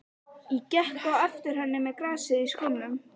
Ég gekk á eftir henni með grasið í skónum!